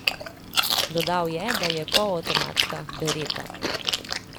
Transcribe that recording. Dodal je, da je polavtomatska, beretta.